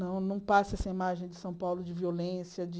Não não passe essa imagem de São Paulo de violência, de...